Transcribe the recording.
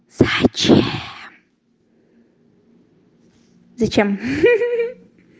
зачем зачем ха-ха